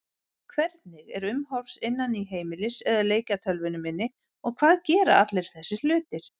Hvernig er umhorfs innan í heimilis- eða leikjatölvunni minni og hvað gera allir þessir hlutir?